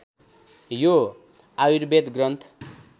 यो आयुर्वेद ग्रन्थ